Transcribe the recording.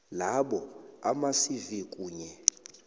labo amacv kunye